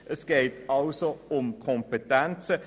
Es geht somit um Kompetenzen.